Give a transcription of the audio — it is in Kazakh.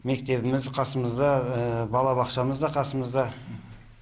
мектебіміз қасымызда балабақшамыз да қасымызда